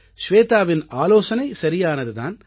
ஷ்வேதாவின் ஆலோசனை சரியானது தான்